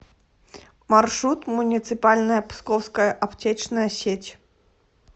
маршрут муниципальная псковская аптечная сеть